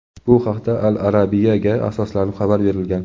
Bu haqda "Al Arabia"ga asoslanib xabar berilgan.